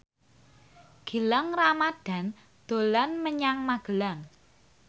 Gilang Ramadan dolan menyang Magelang